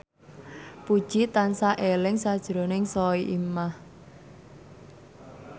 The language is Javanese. Puji tansah eling sakjroning Soimah